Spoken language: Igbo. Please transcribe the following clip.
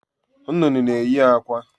Nnụnụ n'eyị akwa